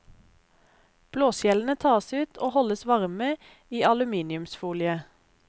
Blåskjellene tas ut og holdes varme i aluminiumsfolie.